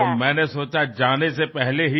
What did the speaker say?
तो मैंने सोचा जाने से पहले ही